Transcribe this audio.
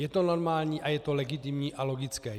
Je to normální a je to legitimní a logické.